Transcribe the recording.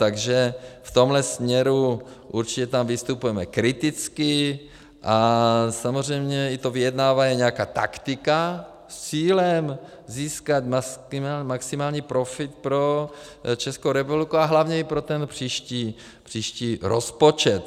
Takže v tomhle směru určitě tam vystupujeme kriticky a samozřejmě i to vyjednávání je nějaká taktika s cílem získat maximální profit pro Českou republiku a hlavně i pro ten příští rozpočet.